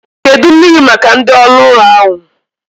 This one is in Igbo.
Kedụ mmiri maka ndị oru ụlọ ahu?